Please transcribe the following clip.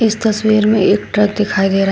इस तस्वीर में एक ट्रक दिखाई दे रहा।